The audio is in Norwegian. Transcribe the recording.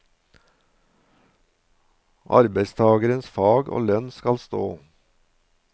Arbeidstagerens fag og lønn skal stå.